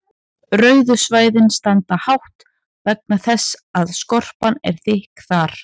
rauðu svæðin standa hátt vegna þess að skorpan er þykk þar